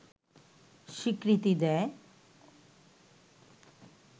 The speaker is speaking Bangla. স্বীকৃতি দেয়